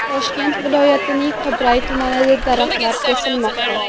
Toshkent viloyatining Qibray tumanida daraxtlar kesilmoqda.